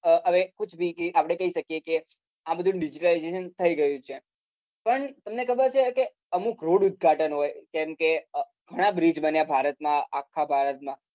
હવે આપડે કહી શકીએ કે આ બધું digitalization થઇ ગયું છે પણ તમને ખબર છે કે અમુક road ઉદ્ઘાટન હોય જેમ કે ઘણા બ્રીજ બન્યા ભારત માં આખા ભારત માં